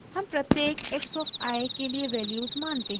हम प्रत्येक x of i के लिए वैल्यूज़ मानते हैं